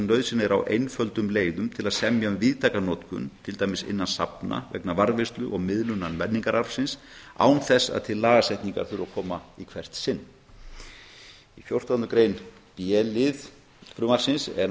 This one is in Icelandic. nauðsyn er á einföldum leiðum til að semja um víðtæka notkun til dæmis innan safna vegna varðveislu og miðlunar menningararfsins án þess að til lagasetningar þurfi að koma í hvert sinn í b lið fjórtándu greinar er